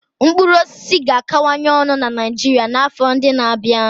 Mkpụrụ osisi ga-akawanye ọnụ na Niijiria n'afọ ndị n'abia.